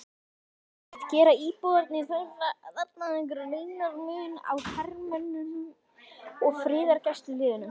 Róbert: Gera íbúarnir þarna greinarmun á hermönnum og friðargæsluliðum?